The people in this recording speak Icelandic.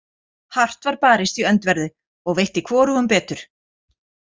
Hart var barist í öndverðu, og veitti hvorugum betur.